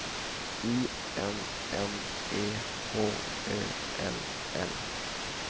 I N N E H Ö L L